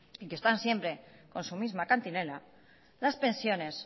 y que están siempre con su misma cantinela las pensiones